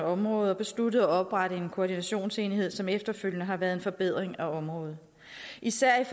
området og besluttede at oprette en koordinationsenhed som efterfølgende har været en forbedring af området især